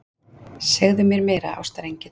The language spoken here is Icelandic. Segðu mér meira, ástarengill.